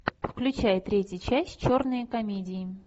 включай третью часть черные комедии